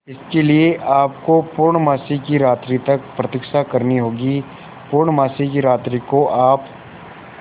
इसके लिए आपको पूर्णमासी की रात्रि तक प्रतीक्षा करनी होगी पूर्णमासी की रात्रि को आप